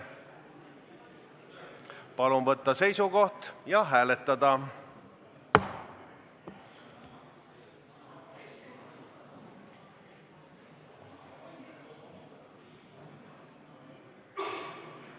Palun võtta seisukoht ja hääletada!